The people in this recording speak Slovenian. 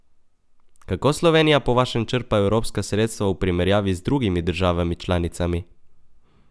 Kako Slovenija po vašem črpa evropska sredstva v primerjavi z drugimi državami članicami?